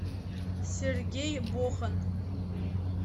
сергей бохан